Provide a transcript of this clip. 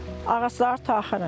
Ağacları taxırıq.